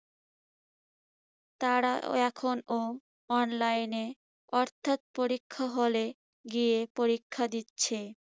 তারা এ~এখনো online এ অর্থাৎ পরীক্ষার হলে গিয়ে পরীক্ষা দিচ্ছে।